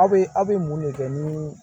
Aw bɛ aw bɛ mun de kɛ ni